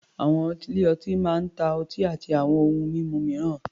Àwọn ilé-ọtí máa ń ta ọtí àti àwọn ohun mímu mìíràn.